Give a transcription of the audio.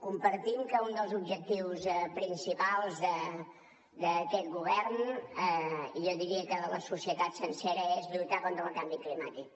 compartim que un dels objectius principals d’aquest govern i jo diria que de la societat sencera és lluitar contra el canvi climàtic